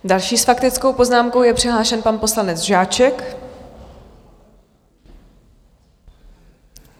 Další s faktickou poznámkou je přihlášen pan poslanec Žáček.